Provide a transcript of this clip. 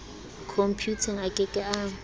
khompuyuteng a ke ke a